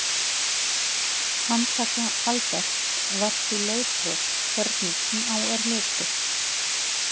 Handtaka Alberts var því lögbrot hvernig sem á er litið.